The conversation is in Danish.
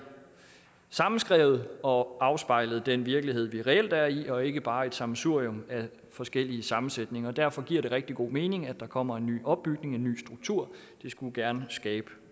sammenskrevet og afspejlede den virkelighed vi reelt er i og ikke bare et sammensurium af forskellige sammenskrivninger og derfor giver det rigtig god mening at der kommer en ny opbygning en ny struktur det skulle gerne skabe